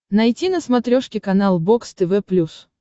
найти на смотрешке канал бокс тв плюс